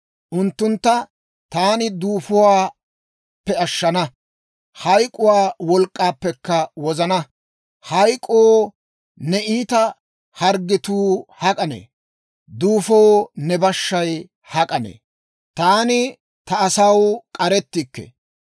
Unttuntta taani duufuwaappe ashshana; hayk'k'uwaa wolk'k'aappekka wozana. Hayk'k'oo, ne iita harggetuu hak'anne? Duufoo, ne bashshay hak'anne? «Taani ta asaw k'arettikke.